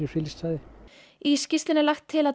friðlýst svæði í skýrslunni er lagt til að